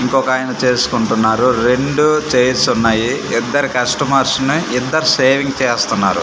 ఇంకొకాయన చేసుకుంటున్నారు రెండు చైర్స్ ఉన్నాయి ఇద్దరు కష్టమర్స్ నీ ఇద్దరు షేవింగ్ చేస్తన్నారు.